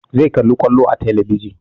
Zai kalli kwallo a talabijin